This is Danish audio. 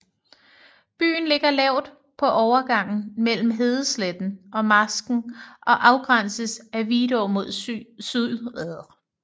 Byen ligger lavt på overgangen mellem hedesletten og marsken og afgrænses af Vidå mod syd